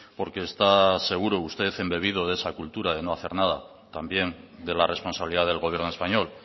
porque está seguro usted en debido de esa cultura de no hacer nada también de la responsabilidad del gobierno español